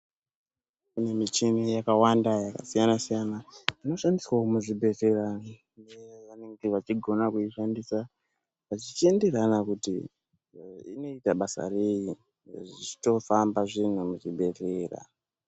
Kune michini yakawanda yakasiyana siyana inoshandiswawo muzvibhedhlera nevanenge vachigona kuishandisa zvichienderana kuti inoita basa rei zvitofamba zvinhu muzvibhedhlera.